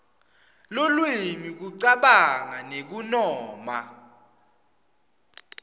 lulwimi kucabanga nekunoma